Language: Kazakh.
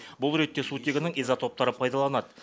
бұл ретте сутегінің изотоптары пайдаланады